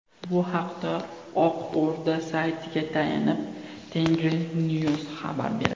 Bu haqda Oq O‘rda saytiga tayanib, Tengrinews xabar berdi .